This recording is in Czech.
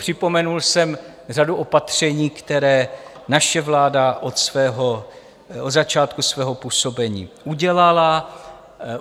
Připomenul jsem řadu opatření, která naše vláda na začátku svého působení udělala.